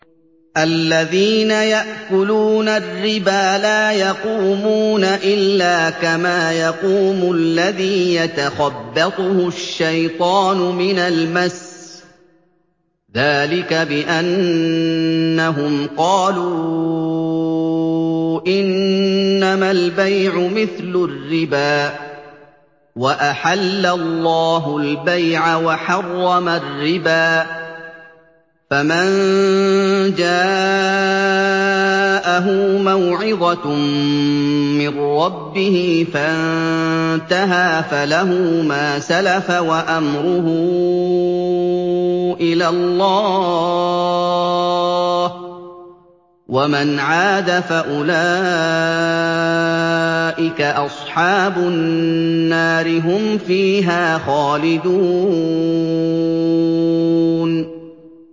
الَّذِينَ يَأْكُلُونَ الرِّبَا لَا يَقُومُونَ إِلَّا كَمَا يَقُومُ الَّذِي يَتَخَبَّطُهُ الشَّيْطَانُ مِنَ الْمَسِّ ۚ ذَٰلِكَ بِأَنَّهُمْ قَالُوا إِنَّمَا الْبَيْعُ مِثْلُ الرِّبَا ۗ وَأَحَلَّ اللَّهُ الْبَيْعَ وَحَرَّمَ الرِّبَا ۚ فَمَن جَاءَهُ مَوْعِظَةٌ مِّن رَّبِّهِ فَانتَهَىٰ فَلَهُ مَا سَلَفَ وَأَمْرُهُ إِلَى اللَّهِ ۖ وَمَنْ عَادَ فَأُولَٰئِكَ أَصْحَابُ النَّارِ ۖ هُمْ فِيهَا خَالِدُونَ